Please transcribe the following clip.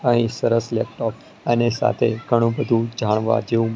અહીં સરસ લેપટોપ અને સાથે ઘણું બધું જાણવા જેવું--